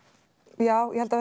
já ég held að